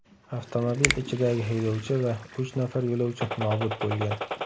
Avtomobil ichidagi haydovchi va uch nafar yo‘lovchi nobud bo‘lgan.